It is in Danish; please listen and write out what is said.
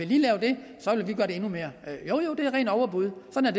vi lave det endnu mere jo jo det er rent overbud sådan